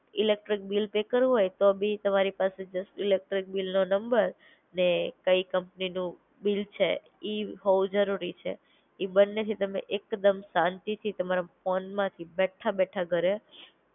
Electric bill pay કરવું હોય તો બી તમારી પાસે જસ ઇલેક્ટ્રિક બિલનું નંબર, ને કઈ કંપનીનું બિલ છે ઈ હોવું જરૂરી છે. ઈ બંનેથી તમે એક દમ શાંતિથી તમારા ફોન માંથી બેઠા બેઠા ઘરે